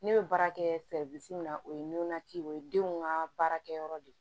Ne bɛ baara kɛ min na o ye nɔnɔ ci o ye denw ka baarakɛyɔrɔ de ye